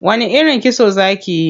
Wani irin kitso za kiyi?